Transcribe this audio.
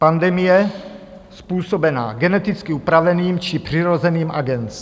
Pandemie způsobená geneticky upraveným či přirozeným agens.